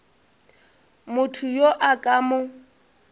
motho yo a ka mo